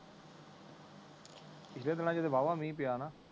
ਪਿਛਲੇ ਦਿਨਾਂ ਚ ਤੇ ਵਾਵਾ ਮਿਹ ਪਿਆ ਨਾ